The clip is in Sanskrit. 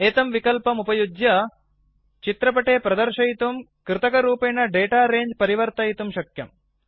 एतं विकल्पम् उपयुज्य चित्रपटे प्रदर्शयितुं कृतकरूपेण दाता रङ्गे परिवर्तितुं शक्यम्